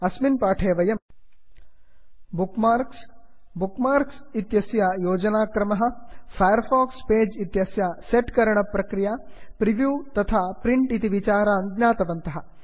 अस्मिन् पाठे वयं बुक् मार्क्स् बुक् मार्क्स् इत्यस्य योजनाक्रमः फैर् फाक्स् पेज् इत्यस्य सेट् करणप्रक्रिया प्रिव्यू तथा प्रिण्ट् इति विचारान् ज्ञातवन्तः